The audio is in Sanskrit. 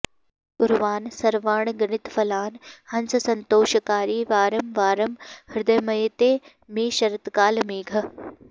कुर्वन् सर्वानगणितफलान् हंससन्तोषकारी वारं वारं हृदयमयते मे शरत्कालमेघः